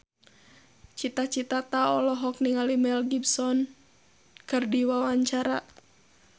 Cita Citata olohok ningali Mel Gibson keur diwawancara